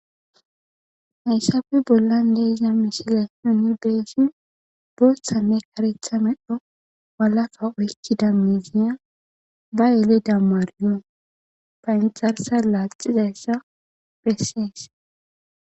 hayssafi bollan deiza mishile honirbeesin booththanne karetha medho walaka oykki da miziya ba yele dammariyo phaynxarsa laaxizayssa bessees